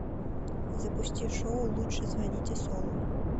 запусти шоу лучше звоните солу